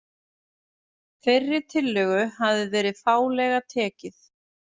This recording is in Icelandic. Þeirri tillögu hafi verið fálega tekið